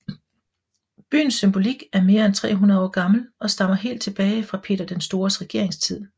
Byens symbolik er mere end 300 år gammel og stammer helt tilbage fra Peter den Stores regeringstid